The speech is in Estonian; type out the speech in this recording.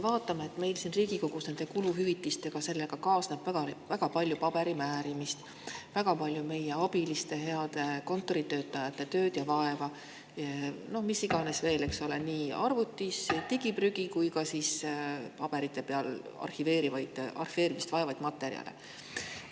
Meil siin Riigikogus kaasneb kuluhüvitistega väga palju paberimäärimist, väga palju meie abiliste, heade kontoritöötajate tööd ja vaeva, mida iganes veel, eks ole, arvutis digiprügi ja ka paberi peal arhiveerimist vajavaid materjale.